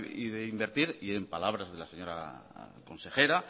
y de invertir y en palabras de la señora consejera